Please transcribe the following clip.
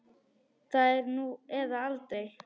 Það er nú eða aldrei.